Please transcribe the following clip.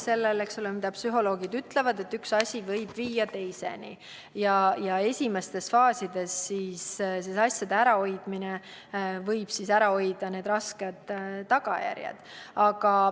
Psühholoogid ütlevad, et üks asi võib viia teiseni ja esimestes faasides millegi ärahoidmine võib ära hoida rasked tagajärjed.